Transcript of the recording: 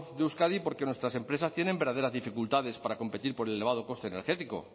de euskadi porque nuestras empresas tienen verdaderas dificultades para competir por el elevado coste energético